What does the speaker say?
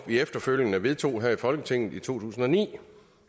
vi efterfølgende vedtog her i folketinget i to tusind og ni